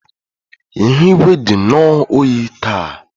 Ihu igwe dị nnọọ oyi taa